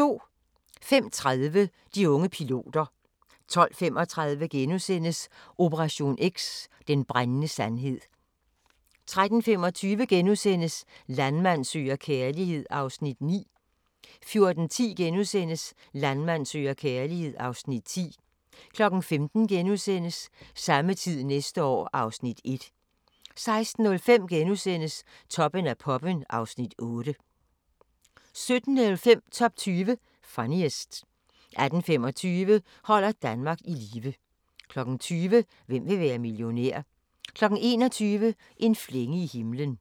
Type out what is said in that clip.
05:30: De unge piloter 12:35: Operation X: Den brændende sandhed * 13:25: Landmand søger kærlighed (Afs. 9)* 14:10: Landmand søger kærlighed (Afs. 10)* 15:00: Samme tid næste år (Afs. 1)* 16:05: Toppen af poppen (Afs. 8)* 17:05: Top 20 Funniest 18:25: Holder Danmark i live 20:00: Hvem vil være millionær? 21:00: En flænge i himlen